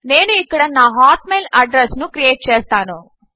నేను ఇక్కడ నా హాట్మెయిల్ అడ్రస్ ను క్రియేట్ చేస్తాను